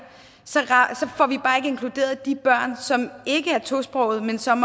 så får vi bare ikke inkluderet de børn som ikke er tosprogede men som